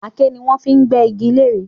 Aké ni wọ́n fi n gbé iji lere